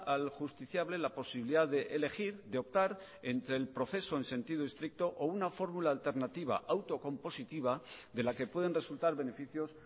al justiciable la posibilidad de elegir de optar entre el proceso en sentido estricto o una fórmula alternativa autocompositiva de la que pueden resultar beneficios